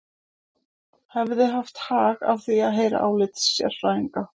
Hefði haft hag að því að heyra álit sérfræðinga.